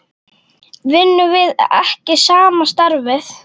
Vinnum við ekki sama starfið?